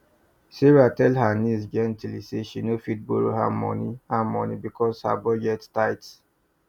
sarah tell her niece gently say she no fit borrow her money her money because her budget tight